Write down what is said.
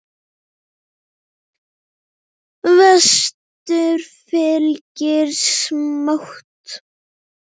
Vestur fylgir smátt.